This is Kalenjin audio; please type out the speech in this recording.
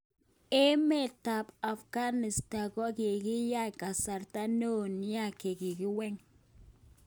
Emet ap Afghanistan kokingan kasarta neo nia keweken